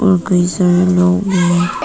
और कई सारे लोग भी--